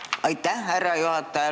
Aitäh, härra juhataja!